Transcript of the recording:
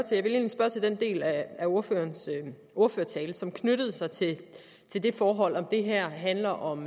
til den del af ordførertalen som knyttede sig til det forhold om det her handler om